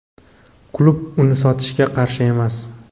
Klub uni sotishga qarshi emas;.